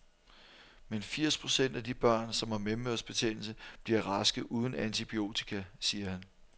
Men firs procent af de børn, som har mellemørebetændelse, bliver raske uden antibiotika, siger han.